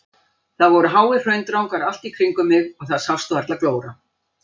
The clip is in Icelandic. Það voru háir hraundrangar allt í kringum mig og það sást varla glóra.